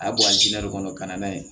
A bɛ bɔ kɔnɔ ka na n'a ye